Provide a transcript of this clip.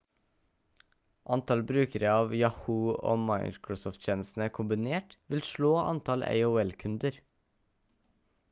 antall brukere av yahoo og microsoft-tjenestene kombinert vil slå antall aol-kunder